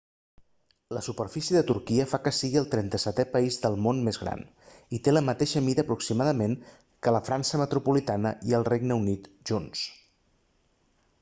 la superfície de turquia fa que sigui el 37è país del món més gran i té la mateixa mida aproximadament que la frança metropolitana i el regne unit junts